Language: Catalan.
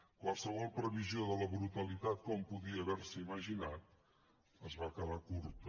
qualsevol previsió de la brutalitat que hom podia haver se imaginat es va quedar curta